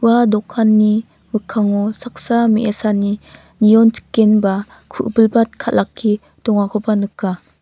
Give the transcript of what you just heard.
ua dokanni mikkango saksa me·asani nionchikenba ku·bilbat kal·ake dongakoba nika.